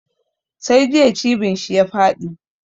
Sai jiya cibin shi ta faɗi.